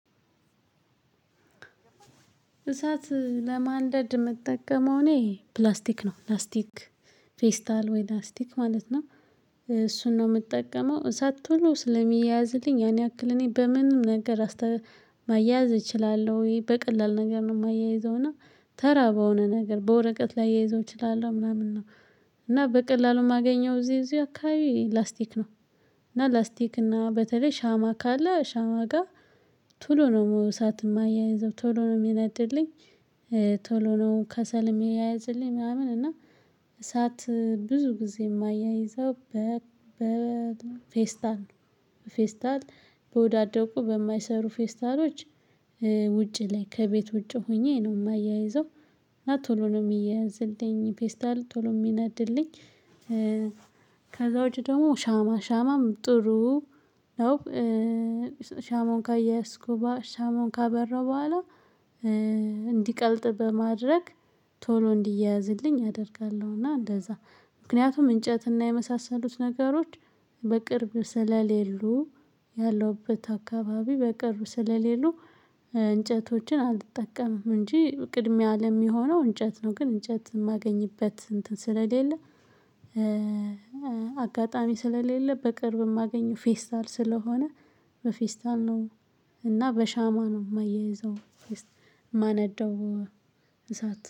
እሳት ለማንደድ የምጠቀመው እኔ ፕላስቲክ ነው ፕላስቲክ ፌስታል ወይ ላስቲክ ማለት ነው። እሱን ነው የምጠቀመው እሳት ቶሎ ስለሚያያዝልኝ ያን ያክል እኔ በምንም ነገር። ማያያዝ እችላለሁ ወይ በቀላል ነገር ነው የማያይዘውና ተራ በሆነ ነገር በወረቀት ላያይዘው እችላለሁ ምናምን ነው። እና በቀላሉ የማገኘው እዚህ እዚህ አካባቢ ላስቲክ ነው። እና ላስቲክ እና በተለይ ሻማ ካለ ሻማ ጋር ቶሎ ነው እሳት የማያይዘው ቶሎ ነው የሚነድልኝ። ቶሎ ነው ከሰል የሚያያዝልኝ ምናምን እና እሳት ብዙ ጊዜ የማያይዘው። በፌስታል በፌስታል በወዳደቁ በማይሰሩ ፌስታሎች ውጪ ላይ ከቤት ውጪ ሆኜ ነው የማያይዘው። እና ቶሎ ነው የሚያዝልኝ ፔስታል ቶሎ የሚናድልኝ። ከዛ ውጪ ደግሞ ሻማ ሻማም ጥሩ ነው። ሻማን ካያያዝኩ ሻማውን ካበረው በኋላ እንዲቀልጥ በማድረግ ቶሎ እንዲያያዝልኝ አደርጋለሁና። እንደዛ ምክንያቱም እንጨትና የመሳሰሉት ነገሮች በቅርብ ስለሌሉ ያለውበት አካባቢ በቅርብ ስለሌሉ። እንጨቶችን አልጠቀምም እንጂ ቅድሚያ ለሚሆነው እንጨት ነው ግን እንጨት የማገኝበት እንትን ስለሌለ። አጋጣሚ ስለሌለ በቅርብ የማገኘው ፌስታል ስለሆነ በፌስታል ነው። እና በሻማ ነው የማያይዘው። ማነደው እሳት